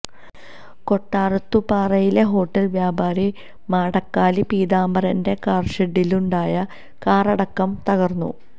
കൊട്ടാരത്തുംപാറയിലെ hotel വ്യാപാരി മാടക്കാലി പീതാംബാരന്റെ കാര്ഷെഡിലുണ്ടായ കാറടക്കം തകര്ന്നു